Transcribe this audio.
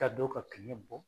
Ka do ka kɛɲɛ bɔ